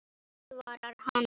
Aðvarar hana.